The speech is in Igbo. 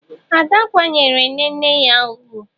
Ee! Ada kwanyeere nne nne ya ugwu.